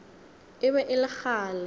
e be e le kgale